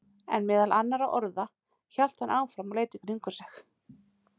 En meðal annarra orða, hélt hann áfram og leit í kringum sig.